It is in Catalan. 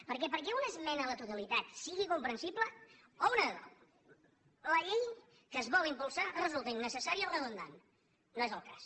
perquè perquè una esmena a la totalitat sigui comprensible o una de dos la llei que es vol impulsar resulta innecessària o redundant no és el cas